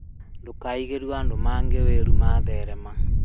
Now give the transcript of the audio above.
Ndukaiguĩre andũ angĩ ũiru matherema